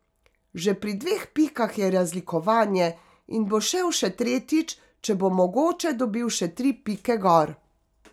Že pri dveh pikah je razlikovanje, in bo šel še tretjič, ker bo mogoče dobil še tri pike gor.